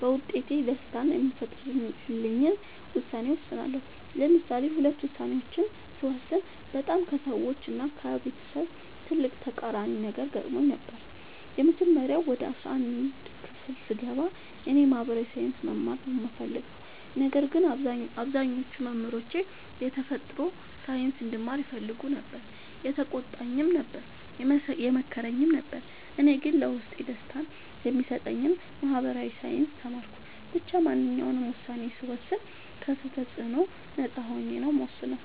በውስጤ ደስታን የሚፈጥርልኝን ውሳኔ እወስናለሁ። ለምሳሌ ሁለት ውሳኔዎችን ስወስን በጣም ከሰዎች እና ከቤተሰብ ትልቅ ተቃራኒ ነገር ገጥሞኝ ነበር። የመጀመሪያው ወደ አስራአንድ ክፍል ስገባ እኔ የ ማህበራዊ ሳይንስ መማር ነው የምፈልገው። ነገር ግን አብዛኞቹ መምህሮቼ የተፈጥሮ ሳይንስ እንድማር ይፈልጉ ነበር የተቆጣኝም ነበር የመከረኝም ነበር እኔ ግን ለውስጤ ደስታን የሚሰጠኝን ማህበራዊ ሳይንስ ተማርኩ። ብቻ ማንኛውንም ውሳኔ ስወስን ከ ሰው ተፅዕኖ ነፃ ሆኜ ነው የምወስነው።